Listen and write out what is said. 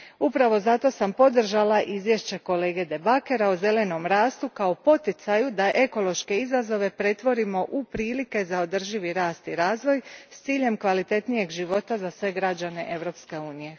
Upravo zato sam podržala izvješće kolege De Backera o zelenom rastu kao poticaju da ekološke izazove pretvorimo u prilike za održivi rast i razvoj s ciljem kvalitetnijeg života za sve građane Europske unije.